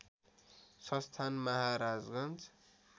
संस्थान महाराजगंज